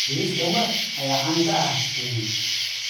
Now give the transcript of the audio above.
Bariiska Mwe ayaa caan ka ah Kenya.